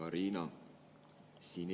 Hea Riina!